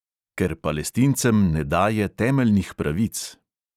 Ker palestincem ne daje temeljnih pravic.